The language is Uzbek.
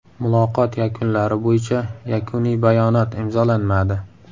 Muloqot yakunlari bo‘yicha yakuniy bayonot imzolanmadi.